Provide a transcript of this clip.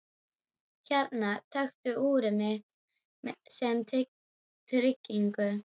Hérna, taktu úrið mitt sem tryggingu.